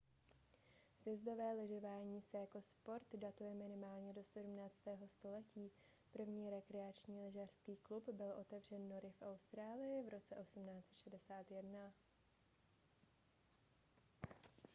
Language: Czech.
sjezdové lyžování se jako sport datuje minimálně do 17. století první rekreační lyžařský klub byl otevřen nory v austrálii v roce 1861